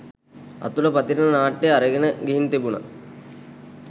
අතුල පතිරණ නාට්‍ය අරගෙන ගිහින් තිබුණ.